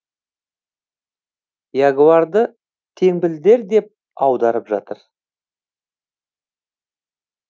ягуарды теңбілдер деп аударып жүр